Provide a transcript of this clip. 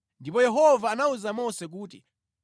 ndipo Yehova anawuza Mose kuti,